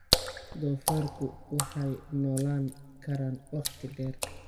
Doofaarku waxay noolaan karaan waqti dheer.